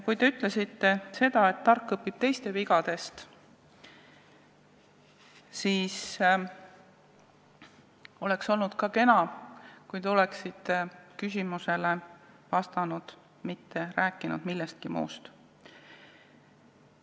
Kui te ütlesite, et tark õpib teiste vigadest, siis oleks olnud kena, kui te oleksite vastanud küsimusele, mitte rääkinud millestki muust.